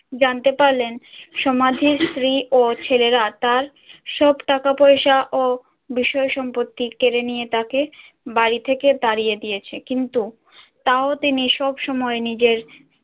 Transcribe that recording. জানতে পারলেন সমাজের স্ত্রী ও ছেলেরা তার সব টাকা পয়সা ও বিষয় সম্পত্তি কেড়ে নিয়ে তাকে বাড়ি থেকে তাড়িয়ে দিয়েছে কিন্তু তাও তিনি সবসময় নিজের